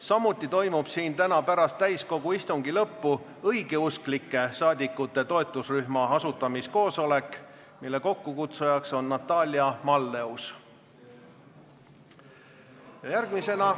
Samuti toimub täna pärast täiskogu istungi lõppu siin õigeusklike saadikute toetusrühma asutamiskoosolek, mille kokkukutsuja on Natalia Malleus.